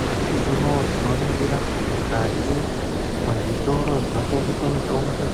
Nyamushi uno tinoringira kuti mukati mwezvitora zvinotengese mitombo